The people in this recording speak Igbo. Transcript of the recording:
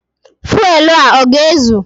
Fuelu a ọ ga-ezu?